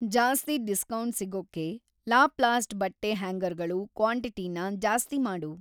ಜಾಸ್ತಿ ಡಿಸ್ಕೌಂಟ್‌ ಸಿಗೋಕ್ಕೆ ಲಾಪ್ಲಾಸ್ಟ್ ಬಟ್ಟೆ ಹ್ಯಾಂಗರ್‌ಗಳು ಕ್ವಾಂಟಿಟಿನ ಜಾಸ್ತಿ ಮಾಡು.